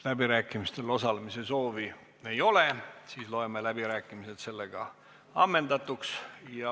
Läbirääkimistel osalemise soovi ei ole, sel juhul loen läbirääkimised ammendatuks.